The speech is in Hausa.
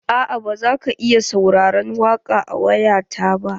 Aa ba zaka iya sauraron waƙa da waya ta ba.